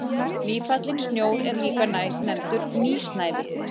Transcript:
Nýfallinn snjór er líka nefndur nýsnævi.